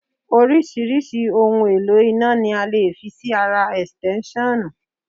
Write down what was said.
Oríṣiríṣi ohun èlò iná ni a lè fi sí ara Ẹ̀stẹ́nṣọ̀nù.